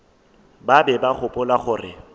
ba be ba gopola gore